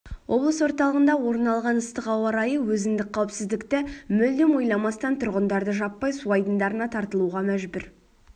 облыс орталығында орын алған ыстық ауа-райы өзіндік қауіпсіздікті мүлдем ойламастан тұрғындарды жаппай су айдындарына тартылуға мәжбүр